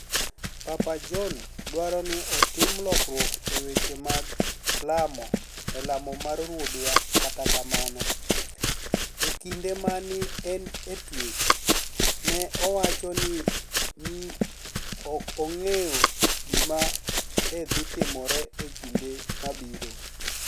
Papa Johni dwaro nii otim lokruok e weche mag lamo e lamo mar ruodhwa Kata kamano, e kinide ma ni e eni e twech, ni e owacho nii ni e ok onig'eyo gima ni e dhi timore e kinide mabiro.